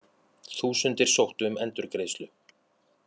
Þúsundir sóttu um endurgreiðslu